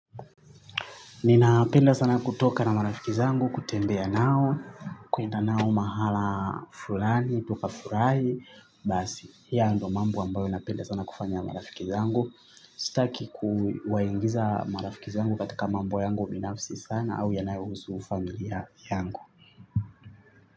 Ninapenda sana kutoka na marafiki zangu, kutembea nao, kuenda nao mahala fulani, tukafurahi basi. Hio ndo mambo ambayo napenda sana kufanya na marafiki zangu. Sitaki kuwaingiza marafiki zangu katika mambo yangu binafsi sana au yanayohusu familia yangu.